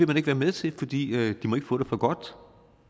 man ikke være med til fordi de ikke må få det for godt